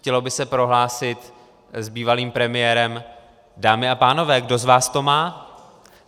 Chtělo by se prohlásit s bývalým premiérem: Dámy a pánové, kdo z vás to má?